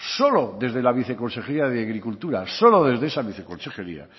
solo desde la viceconsejería de agricultura solo de esa viceconsejería